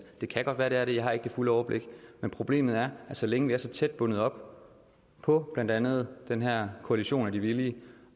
det kan godt være at der er det jeg har ikke det fulde overblik men problemet er at så længe vi er så tæt bundet op på blandt andet den her koalition af de villige